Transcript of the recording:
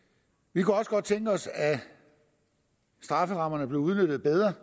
vi kunne også godt tænke os at strafferammerne blev udnyttet bedre